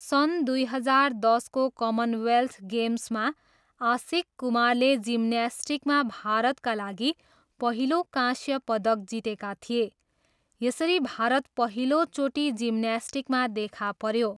सन् दुई हजार दसको कमनवेल्थ गेम्समा आशिष कुमारले जिम्न्यास्टिकमा भारतका लागि पहिलो काँस्य पदक जितेका थिए, यसरी भारत पहिलोचोटि जिम्न्यास्टिकमा देखा पऱ्यो।